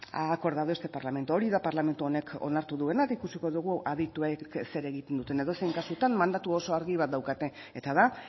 ha acordado este parlamento hori da parlamentu honek onartu duena eta ikusiko dugu adituek zer egiten duten edozein kasutan mandatu oso argi bat daukate eta da